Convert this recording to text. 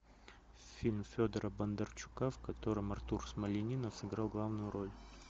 фильм федора бондарчука в котором артур смольянинов сыграл главную роль